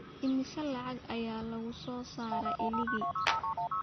Imisa lacag ayaa lagu soo saaraa iligi?